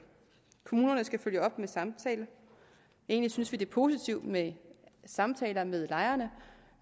kommunerne skal følge op med samtale egentlig synes vi det er positivt med samtaler med lejerne